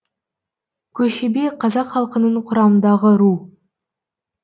көшебе қазақ халқының құрамындағы ру